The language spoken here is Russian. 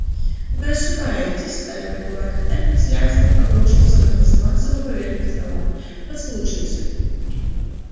вы ошибаетесь стальной кулак эрби с лязгом обрушился на пластмассовую поверхность стола послушайте